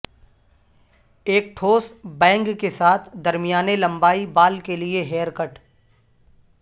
ایک ٹھوس بینگ کے ساتھ درمیانے لمبائی بال کے لئے ہیئر کٹ